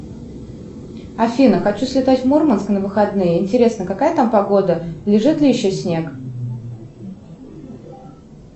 афина хочу слетать в мурманск на выходные интересно какая там погода лежит ли еще снег